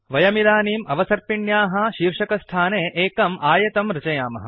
वयम् इदानीम् अवसर्पिण्याः शीर्षकस्थाने एकम् आयतं रचयामः